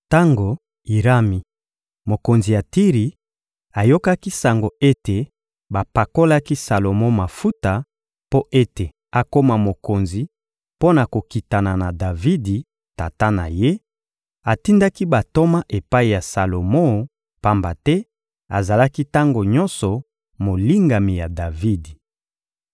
Tango Irami, mokonzi ya Tiri, ayokaki sango ete bapakolaki Salomo mafuta mpo ete akoma mokonzi mpo na kokitana na Davidi, tata na ye, atindaki bantoma epai ya Salomo, pamba te azalaki tango nyonso molingami ya Davidi.